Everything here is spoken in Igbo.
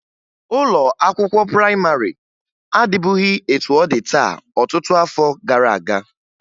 Ụlọ akwụkwọ prayịmarị adịbughi etu ọ dị taa ọtụtụ afọ gara aga